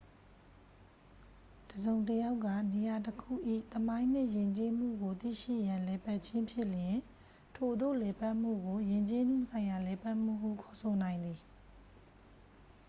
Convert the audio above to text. တစ်စုံတစ်ယောက်က နေရာတခု၏ သမိုင်းနှင့်ယဉ်ကျေးမှုကို သိရှိရန်လည်ပတ်ခြင်းဖြစ်လျှင် ထိုသို့လည်ပတ်မှုကို ယဉ်ကျေးမှုဆိုင်ရာ လည်ပတ်မှုဟု ခေါ်ဆိုနိုင်သည်